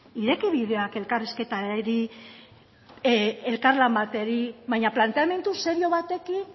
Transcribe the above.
ireki bidea elkarrizketari elkarlan bati baina planteamendu serio batekin